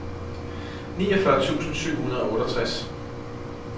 niogfyrre tusind syv hundrede og otteogtres